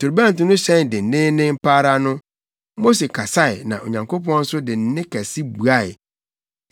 Torobɛnto no hyɛn denneennen pa ara no, Mose kasae na Onyankopɔn nso de nne kɛse buae.